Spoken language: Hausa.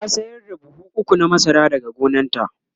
ta sayar da buhu ukwu na masara daga gonanta